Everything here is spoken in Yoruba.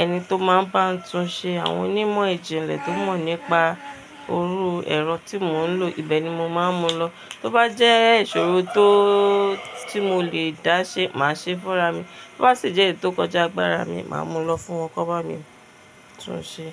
ẹni tó máa ń bá n tuń ṣe, àwọn onímọ̀ ìjìnlẹ̀ tó mọ̀ nípa iru ẹ̀rọ tí mò ń lò, ibẹ̀ ni mo máa ń mú lọ. Tó bá jẹ́ ìṣòro tó tí mo lè dáṣẹ, màá ṣe fúnra mí, tó bá sì jẹ́ èyí tó kọjá agbára mi, màá mú lọ fún wọn kó bá mi tún ṣe.